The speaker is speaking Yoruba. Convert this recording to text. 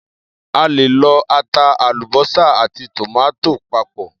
A lè lọ ata, àlúbósà àti tòmátò papọ̀.